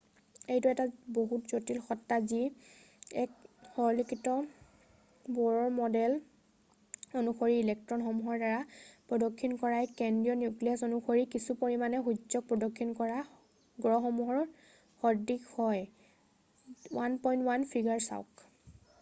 এইটো এক বহুত জটিল সত্তা হয় যি এক সৰলীকৃত ব'ৰৰ ম'ডেল অনুসৰি ইলেক্ট্ৰ'নসমূহৰ দ্বাৰা প্ৰদক্ষিণ কৰা এক কেন্দ্ৰীয় নিউক্লীয়াছৰ অনুসৰি কিছু পৰিমাণে সূৰ্য্যটোক প্ৰদক্ষিণ কৰা গ্ৰহসমূহৰ সদৃশ হয় - 1.1 ফিগাৰ চাওক৷